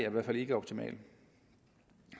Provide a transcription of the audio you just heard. i hvert fald ikke optimal